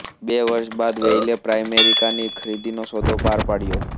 બે વર્ષ બાદ વેઇલ્લે પ્રાઇમેરિકાની ખરીદીનો સોદો પાર પાડ્યો